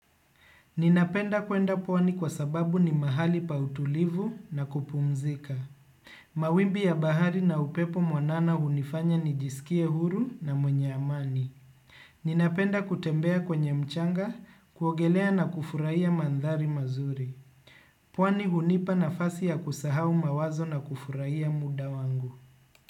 Ninapenda kwenda pwani kwa sababu ni mahali pa utulivu na kupumzika. Mawimbi ya bahari na upepo mwanana hunifanya ni jisikie huru na mwenye amani. Ninapenda kutembea kwenye mchanga kuogelea na kufurahia mandhari mazuri. Pwani hunipa na fasi ya kusahau mawazo na kufurahia muda wangu.